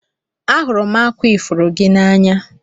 Ahụrụ m akwa ifuru gị n'anya